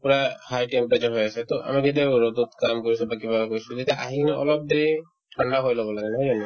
পূৰা সাইতে উগাই জন্মাই আছে to আমাক কেতিয়াবা ৰ'দত কাম কৰিছো বা কিবা কৰিছো তেতিয়া আহি কিনে অলপ দেৰি ঠাণ্ডা হৈ ল'ব লাগে নহয় জানো